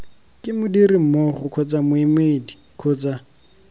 ke modirimmogo kgotsa moemedi kgotsa